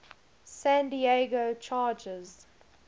san diego chargers